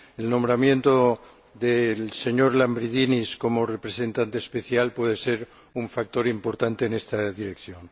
El nombramiento del señor Lambrinidis como representante especial puede ser un factor importante en esta dirección.